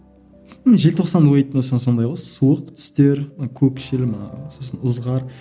ы желтоқсан ойлайтын болсаң сондай ғой суық түстер көкшіл ме сосын ызғар